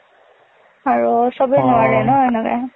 আৰু চবে নোৱাৰে না এনেকে।